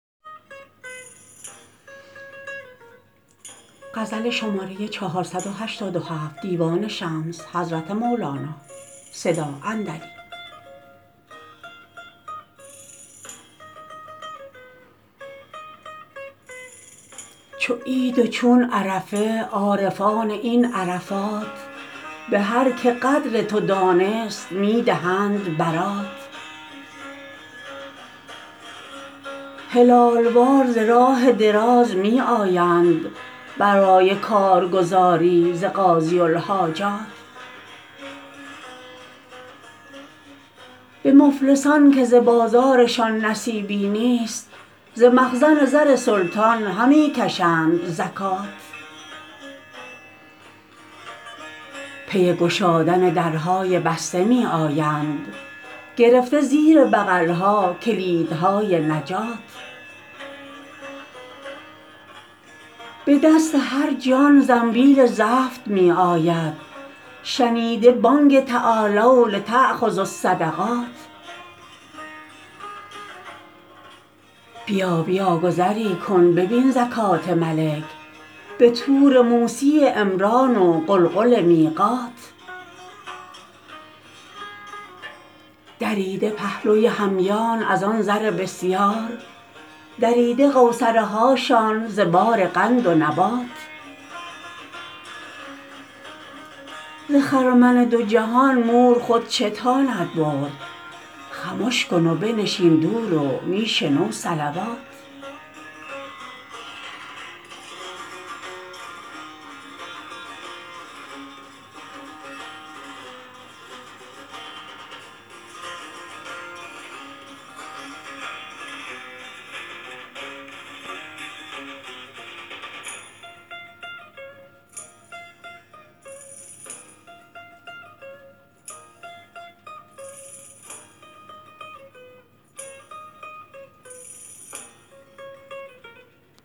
چو عید و چون عرفه عارفان این عرفات به هر که قدر تو دانست می دهند برات هلال وار ز راه دراز می آیند برای کار گزاری ز قاضی الحاجات به مفلسان که ز بازار شان نصیبی نیست ز مخزن زر سلطان همی کشند زکات پی گشادن در های بسته می آیند گرفته زیر بغل ها کلید های نجات به دست هر جان زنبیل زفت می آید شنیده بانگ تعالو لتأخذوا الصدقات بیا بیا گذری کن ببین زکات ملک به طور موسی عمران و غلغل میقات دریده پهلوی همیان از آن زر بسیار دریده قوصره هاشان ز بار قند و نبات ز خرمن دو جهان مور خود چه تاند برد خمش کن و بنشین دور و می شنو صلوات